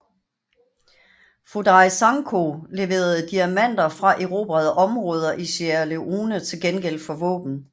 Foday Sankoh leverede diamanter fra erobrede områder i Sierra Leone til gengæld for våben